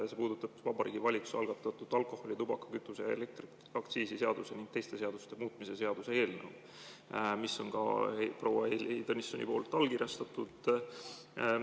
See puudutab Vabariigi Valitsuse algatatud alkoholi‑, tubaka‑, kütuse‑ ja elektriaktsiisi seaduse ning teiste seaduste muutmise seaduse eelnõu, mis on ka proua Heili Tõnissonil allkirjastatud.